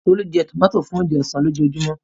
Tolu jẹ tòmátì fún oúnjẹ ọ̀sán lójoojúmọ́.